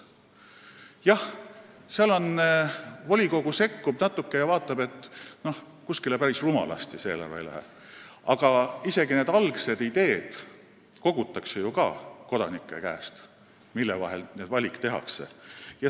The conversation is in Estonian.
Jah, seal volikogu natuke sekkub ja vaatab, et kuskile päris rumalasti eelarveraha ei läheks, aga isegi need algsed ideed, mille põhjal valikud tehakse, kogutakse ju kodanike käest.